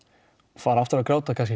fara aftur að gráta kannski